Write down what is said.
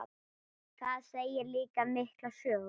Það segir líka mikla sögu.